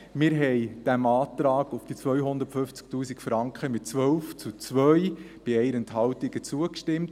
– Wir haben diesem Antrag auf die 250 000 Franken mit 12 zu 2 bei 1 Enthaltung zugestimmt.